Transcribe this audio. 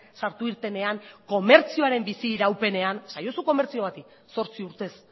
sartu irtenean komertzioaren bizi iraupenean esaiozu komertzio bati zortzi urtez